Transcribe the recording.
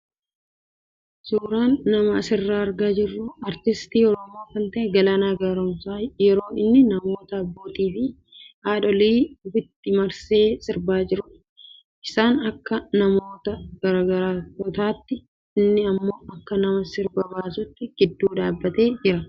Suuraan nama asirraa argaa jirru artistii Oromoo kan ta'e Galaanaa Gaaromsaa yeroo inni namoota abbootii fi haadholii ofitti marsee sirbaa jirudha. Isaan akka namoota gargaraatotaatti inni immoo akka nama sirba baasuutti gidduu dhaabbatee jira.